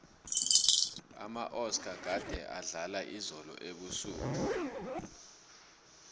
amaoscar gade adlala izolo ebusuku